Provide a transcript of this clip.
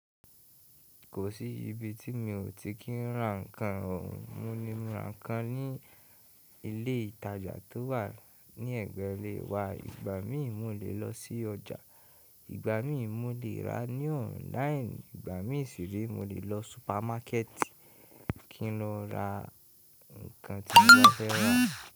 Kò sí ibi tí mi ò ti kí n ra nǹkan. Mo le ra nǹkan ní ilé ìtajà tó wà ní ẹ̀gbẹ́ ilé wa. Ìgbà mi mò lè lọ sí ọjà, ìgbà mi mò lè ra ní ọ̀nláínì, ìgbà mi sì rè mò lè lọ súpámákẹ̀tì kí n lọ ra nǹkan tí mo fẹ́ rà.